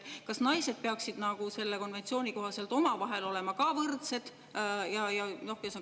Kas naised peaksid selle konventsiooni kohaselt nagu omavahel ka võrdsed olema?